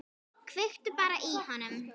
Kveiktu bara í honum.